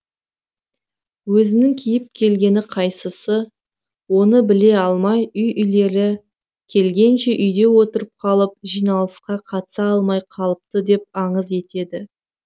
өзінің киіп келгені қайсысы оны біле алмай үй иелері келгенше үйде отырып қалып жиналысқа қатыса алмай қалыпты деп аңыз етеді